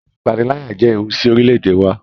Ìpaniláyà jẹ ẹwù sí orílè-èdè wà